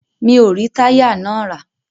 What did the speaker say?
Mi o rí táyà náà rà.